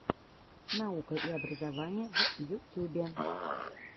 наука и образование в ютюбе